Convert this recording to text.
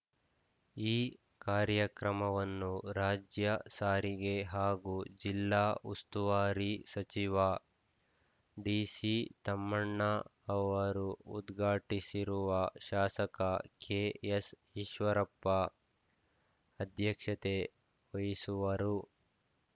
ಈ ಕಾರ್ಯಕ್ರಮವನ್ನು ರಾಜ್ಯ ಸಾರಿಗೆ ಹಾಗೂ ಜಿಲ್ಲಾ ಉಸ್ತುವಾರಿ ಸಚಿವ ಡಿಸಿತಮ್ಮಣ್ಣ ಅವರು ಉದ್ಘಾಟಿಸಿರುವ ಶಾಸಕ ಕೆಎಸ್‌ಈಶ್ವರಪ್ಪ ಅಧ್ಯಕ್ಷತೆ ವಹಿಸುವರು